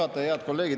Head kolleegid!